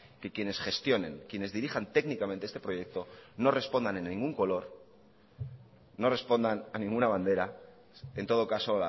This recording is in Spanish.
que quienes gestionen quienes dirijan técnicamente este proyecto no respondan a ningún color no respondan a ninguna bandera en todo caso